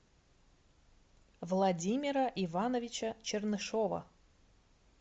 владимира ивановича чернышова